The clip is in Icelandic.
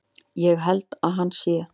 Ég held að hann sé.